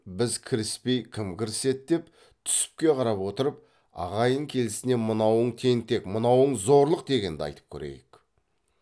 біз кіріспей кім кіріседі деп түсіпке қарап отырып ағайын келісіне мынауың тентек мынауың зорлық дегенді айтып көрейік